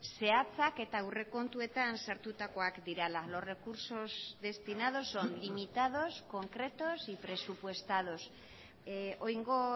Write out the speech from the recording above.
zehatzak eta aurrekontuetan sartutakoak direla los recursos destinados son limitados concretos y presupuestados oraingo